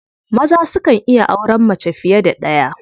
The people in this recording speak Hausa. Maza sukan iya auren mace fiye da ɗaya.